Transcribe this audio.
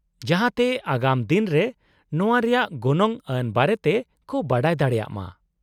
-ᱡᱟᱦᱟᱸ ᱛᱮ ᱟᱜᱟᱢ ᱫᱤᱱ ᱨᱮ ᱱᱚᱶᱟ ᱨᱮᱭᱟᱜ ᱜᱚᱱᱚᱝ ᱟᱱ ᱵᱟᱨᱮᱛᱮ ᱠᱚ ᱵᱟᱰᱟᱭ ᱫᱟᱲᱮᱜ ᱢᱟ ᱾